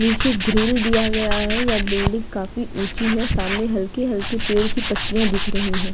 नीचे ग्रिल दिया गया है। यह बिल्डिंग काफी ऊँची है। सामने हल्की हल्की पेड़ की पत्तियाँ दिख रही हैं।